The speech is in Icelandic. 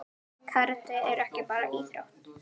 Karate er ekki bara íþrótt.